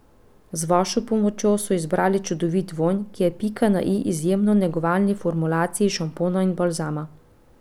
Z vašo pomočjo so izbrali čudovit vonj, ki je pika na i izjemno negovalni formulaciji šampona in balzama.